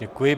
Děkuji.